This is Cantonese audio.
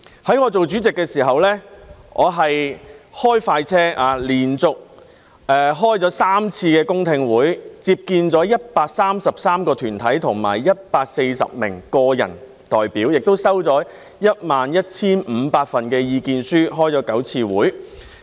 在我擔任主席時，我開快車，連續舉行了3次公聽會，接見了133個團體和140名個人代表，也接收了 11,500 份意見書，並舉行了9次會議。